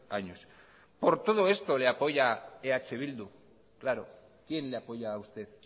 años por todo esto le apoya eh bildu claro quién le apoya a usted